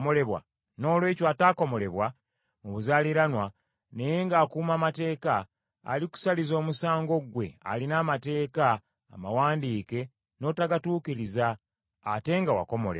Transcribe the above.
Noolwekyo ataakomolebwa mu buzaaliranwa naye ng’akuuma amateeka, alikusaliza omusango gwe alina amateeka amawandiike n’otagatuukiriza ate nga wakomolebwa.